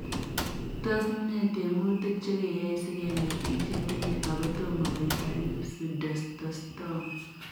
Tos nee tiemutik chekeyae sikenai piik chetinyee agotomaa koitaa kiy pseudoxsthoma